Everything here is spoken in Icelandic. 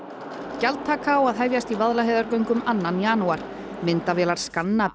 gjaldtaka á að hefjast við Vaðlaheiðargöng annan janúar myndavélar skanna